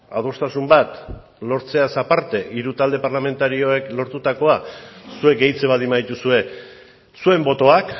adostasun bat lortzeaz aparte hiru talde parlamentarioek lortutakoa zuek gehitzen baldin badituzue zuen botoak